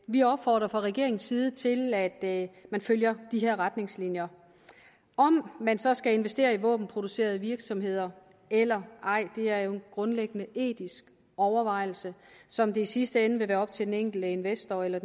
vi opfordrer fra regeringens side til at man følger de retningslinjer om man så skal investere i våbenproducerende virksomheder eller ej er jo en grundlæggende etisk overvejelse som det i sidste ende vil være op til den enkelte investor eller